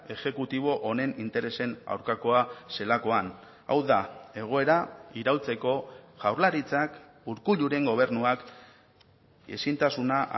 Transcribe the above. exekutibo honen interesen aurkakoa zelakoan hau da egoera iraultzeko jaurlaritzak urkulluren gobernuak ezintasuna